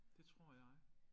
Det tror jeg